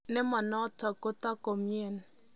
Nimonotok kotoi komien.